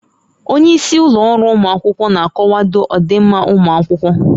Onye isi ụlọ ọrụ ụmụ akwụkwọ na-akwado ọdịmma ụmụ akwụkwọ